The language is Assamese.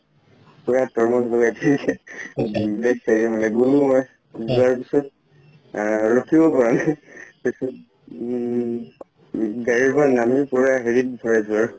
পুৰা তৰমুজ যোৱাৰ পিছত ৰখিব পৰা নাই উম গাড়ী পৰা নামি পোৰা হেৰিত ভৰাইছো আৰু